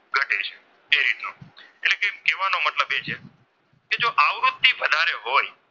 અને હોય.